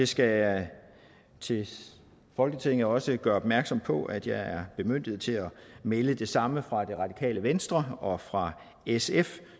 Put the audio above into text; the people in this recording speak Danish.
skal til folketinget også gøre opmærksom på at jeg er bemyndiget til at melde det samme fra det radikale venstre og fra sf